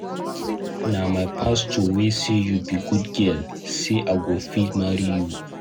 Na my pastor wey say you be good girl, say I go fit marry you.